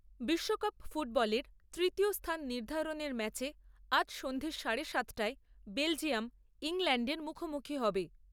বিশ্বকাপ ফুটবলের তৃতীয় স্থান নির্ধারণের ম্যাচে আজ সন্ধ্যা সাড়ে সাত টায় বেলজিয়াম , ইংল্যান্ডের মুখোমুখি হবে ।